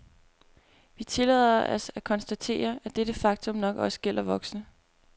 Vi tillader os at konstatere, at dette faktum nok også gælder voksne.